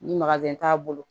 Ni t'a bolo